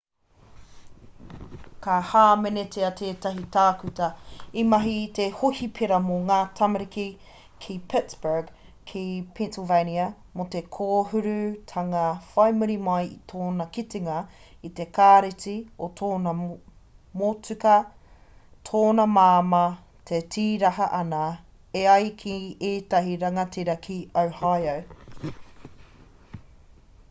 ka hāmenetia tētahi tākuta i mahi ki te hohipera mō ngā tamariki ki pittsburgh ki pennsylvania mō te kōhurutanga whai muri mai i tōna kitenga i te kāreti o tōna motuka tōna māmā e tīraha ana e ai ki ētahi rangatira ki ohio